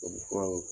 Tubabufuraw